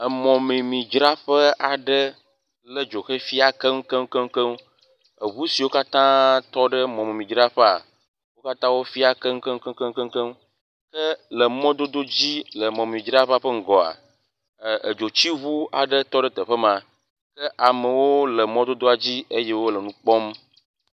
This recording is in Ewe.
Emɔmemidzraƒe aɖe ke dzo hefia keŋkeŋkeŋ, eʋu siwo katã tɔ ɖe mɔmemidzraƒea, wo katã wofia keŋkeŋkeŋ ke le mɔdododzi ke mɔmemidzraƒea ƒe ŋgɔa, edzotsiʋu aɖe tɔ ɖe teƒe ma ke amewo le mɔdodoa dzi eye wole nu kpɔm.